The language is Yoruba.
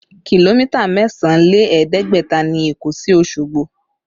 Kìlómítà mẹ́sàn án lé ẹ̀ẹ́dẹ́gbẹ̀ta ni Èkó sí Osogbo